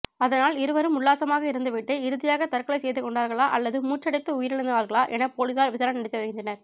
அதனால் இருவரும் உல்லாசமாக இருந்துவிட்டு இறுதியாக தற்கொலை செய்துகொண்டார்களா அல்லது மூச்சடைத்து உயிரிழந்தார்களா என போலீசார் விசாரணை நடத்தி வருகின்றனர்